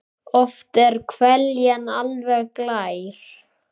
Oft er hveljan alveg glær.